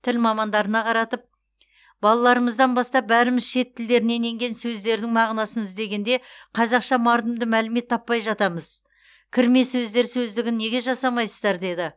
тіл мамандарына қаратып балаларымыздан бастап бәріміз шет тілдерінен енген сөздердің мағынасын іздегенде қазақша мардымды мәлімет таппай жатамыз кірме сөздер сөздігін неге жасамайсыздар деді